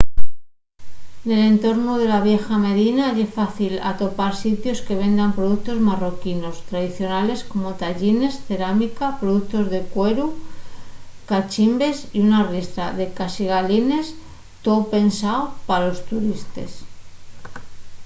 nel entornu de la vieya medina ye fácil atopar sitios que vendan productos marroquinos tradicionales como taḥines cerámica productos de cueru cachimbes y una riestra de caxigalines too pensao pa los turistes